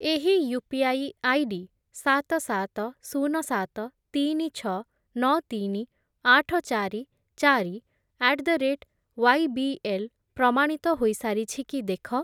ଏହି UPI ID ସାତ, ସାତ, ଶୂନ, ସାତ, ତିନି, ଛଅ, ନଅ, ତିନି, ଆଠ, ଚାରି, ଚାରି ଆଟ୍ ଦ ରେଟ୍ ୱାଇବିଏଲ୍ ପ୍ରମାଣିତ ହୋଇସାରିଛି କି ଦେଖ।